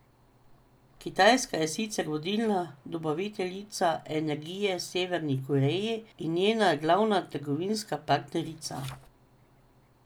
Kitajska je sicer vodilna dobaviteljica energije Severni Koreji in njena glavna trgovinska partnerica.